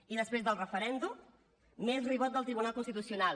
i després del referèndum més ribot del tribunal constitucional